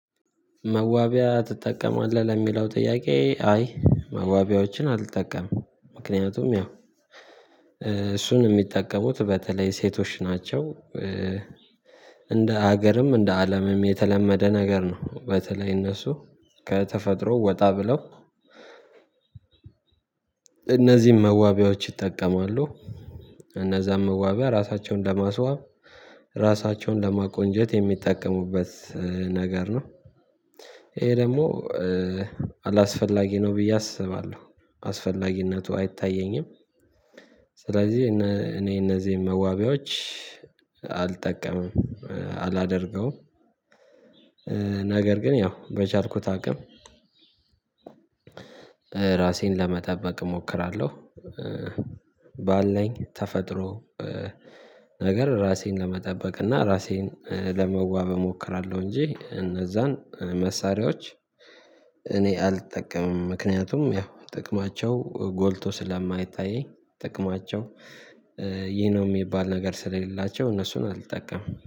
መዋቢያ ትጠቀማለህ ለሚለው ጥያቄ? አይ መዋቢያዎችን አልጠቀምም ምክንያቱም ያው እሱን የሚጠቀሙት በተለይ ሴቶች ናቸው። እንደ ሀገርም እንደ አለምም የተለመደ ነገር ነው። በተለይ እነሱ ከተፈጥሮ ወጣ ብለው እነዚህን መዋቢያዎች ይጠቀማሉ። እነዛን መዋቢያ ራሳቸውን ለማስዋብ ራሳቸውን ለማቆንጀት የሚጠቀሙበት ነገር ነው። ይሄ ደግሞ አላስፈላጊ ነው ብዬ አስባለሁ አስፈላጊነቱ አይታየኝም። ስለዚህ እኔ እነዚህ መዋቢያዎች አልጠቀምም አላደርገውም ነገር ግን ያው በቻልኩት አቅም ራሴን ለመጠበቅ እሞክራለሁ። ባለኝ ተፈጥሮ ነገር ራሴን ለመጠበቅ እና ራሴን ለመዋብ እሞክራለሁ እንጂ እነዛን መሳሪያዎች እኔ አልጠቀምም። ምክንያቱም ያው ጥቅማቸው ጎልቶ ስለማይታየኝ ጥቅማቸው ይሄ ነው የሚባል ነገር ስለሌላቸው እነሱን አልጠቀምም